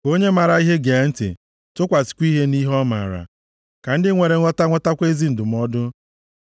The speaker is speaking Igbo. Ka onye maara ihe gee ntị, tụkwasịkwa ihe nʼihe ọ maara, ka ndị nwere nghọta nwetakwa ezi ndụmọdụ.